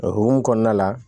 O hokumu kɔnɔna la